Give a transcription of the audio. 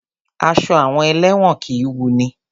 Aṣọ àwọn elẹ́wọ̀n kìí wunni.